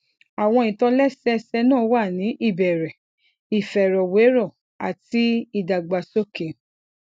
àwọn ìtòlẹsẹẹsẹ náà wà ní ìbẹrẹ ìfèròwérò àti ìdàgbàsókè